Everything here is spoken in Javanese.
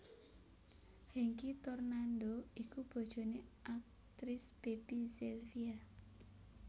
Hengky Tornando iku bojoné aktris Baby Zelvia